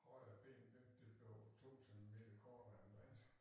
Højre ben det det blev 2 centimeter kortere end det andet